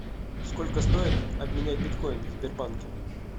сколько стоит обменять биткоин в сбербанке